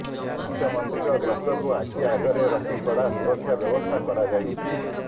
ମୁଖ୍ୟମନ୍ତ୍ରୀଙ୍କ ଗସ୍ତକୁ ଆଖି ଆଗରେ ରଖି କଡ଼ା ସୁରକ୍ଷା ବ୍ୟବସ୍ଥା କରାଯାଇଛି